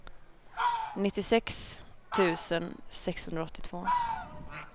nittiosex tusen sexhundraåttiotvå